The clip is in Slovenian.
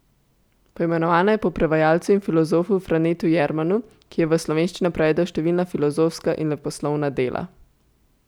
Poimenovana je po prevajalcu in filozofu Franetu Jermanu, ki je v slovenščino prevedel številna filozofska in leposlovna dela.